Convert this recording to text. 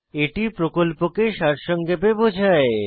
এটি প্রকল্পকে সারসংক্ষেপে বোঝায়